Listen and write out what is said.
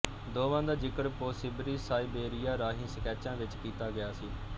ਦੋਵਾਂ ਦਾ ਜ਼ਿਕਰ ਪੋ ਸਿਬਰੀ ਸਾਇਬੇਰੀਆ ਰਾਹੀਂ ਸਕੈਚਾਂ ਵਿੱਚ ਕੀਤਾ ਗਿਆ ਸੀ